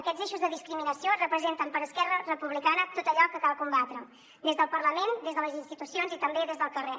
aquests eixos de discriminació representen per esquerra republicana tot allò que cal combatre des del parlament des de les institucions i també des del carrer